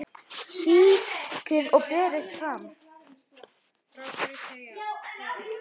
Sykrið og berið fram.